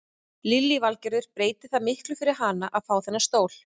Lillý Valgerður: Breytir það miklu fyrir hana að fá þennan stól?